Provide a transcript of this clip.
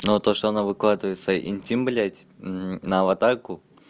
но то что она выкладывается интим блядь на аватарку